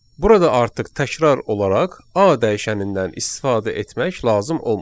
Burada artıq təkrar olaraq A dəyişənindən istifadə etmək lazım olmur.